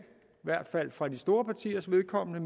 hvert fald for de store partiers vedkommende